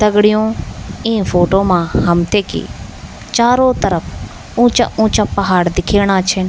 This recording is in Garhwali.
दगड़ियों इ फोटु मा हमते कि चारो तरफ ऊंचा ऊंचा पहाड़ दिखेंणा छिन।